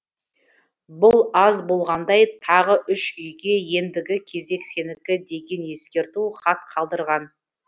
бұл аз болғандай тағы үш үйге ендігі кезек сенікі деген ескерту хат қалдырған